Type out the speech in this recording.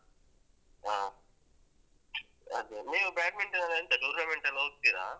ಆ ಅದೆ ನೀವ್ badminton ಅಂದ್ರೆ ಎಂತ tournament ಎಲ್ಲ ಹೋಗ್ತೀರಾ?